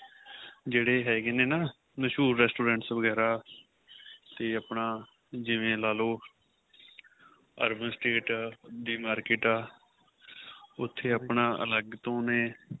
ਜਿਹੜੇ ਹੈਗੇ ਨੇ ਨਾਂ ਮਸੂਹਰ Restaurants ਵਗੇਰਾ ਤੇ ਆਪਣਾ ਜਿਵੇਂ ਲਾਲੋ urban estate ਦੇ market ਏ ਉਥੇ ਆਪਣਾ ਅਲੱਗ ਤੋ ਨੇ